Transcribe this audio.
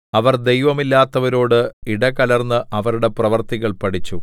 അവർ ദൈവമില്ലാത്തവരോട് ഇടകലർന്ന് അവരുടെ പ്രവൃത്തികൾ പഠിച്ചു